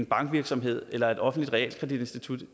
bankvirksomhed eller et offentligt realkreditinstitut